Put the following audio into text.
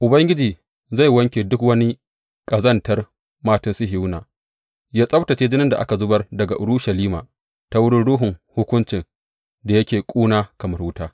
Ubangiji zai wanke duk wani ƙazantar matan Sihiyona; ya tsabtacce jinin da aka zubar daga Urushalima ta wurin ruhun hukunci da yake ƙuna kamar wuta.